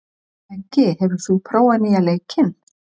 Beggi, hefur þú prófað nýja leikinn?